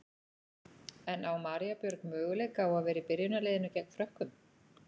En á María Björg möguleika á að vera í byrjunarliðinu gegn Frökkum?